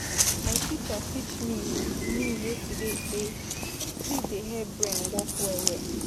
My teacher teach me, me yesterday sey sleep dey help brain work well-well.